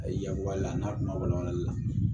A ye yakubaya la n'a kuma wala walali la